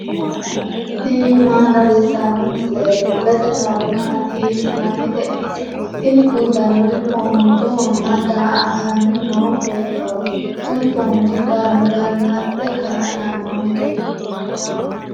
tini maa xawissanno misileeti ? mulese noori maati ? hiissinannite ise ? tini kultannori foonchohonna daa'atanni noo beettooti. kuni foonchi galgalatate kaa'lannonkeho.